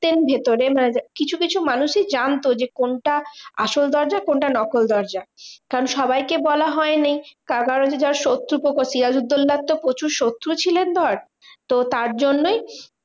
ভেতরে কিছু কিছু মানুষ জানতো যে, কোনটা আসল দরজা? কোনটা নকল দরজা? কারণ সবাইকে বলা হয় নি তার কারণ হচ্ছে যারা শত্রুপক্ষ সিরাজুদ্দোল্লার তো প্রচুর শত্রু ছিলেন ধর। তো তার জন্যই